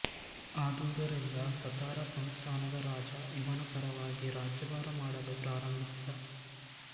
ಆದುದರಿಂದ ಸತಾರ ಸಂಸ್ಥಾನದ ರಾಜ ಇವನ ಪರವಾಗಿ ರಾಜ್ಯಭಾರ ಮಾಡಲು ಪ್ರಾರಂಭಿಸಿದ